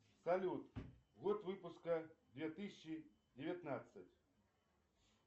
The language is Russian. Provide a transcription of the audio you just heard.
салют год выпуска две тысячи девятнадцать